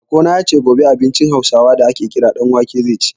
Baƙo na ya ce, gobe abincin Hausawa da a ke kira ɗan wake zai ci.